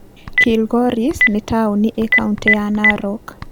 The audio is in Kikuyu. Kilgoris nĩ taũni ĩ kaũntĩ ya Narok.